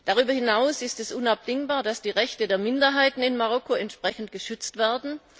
Darüber hinaus ist es unabdingbar, dass die Rechte der Minderheiten in Marokko entsprechend geschützt werden.